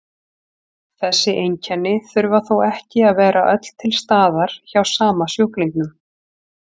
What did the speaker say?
Þessi einkenni þurfa þó ekki að vera öll til staðar hjá sama sjúklingnum.